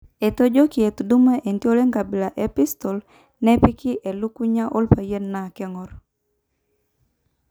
Etejoki etudumua entiol enkabila e pistol, nepik elukunya orpayian naa nengor.